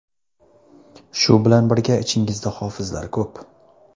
Shu bilan birga, ichingizda hofizlar ko‘p.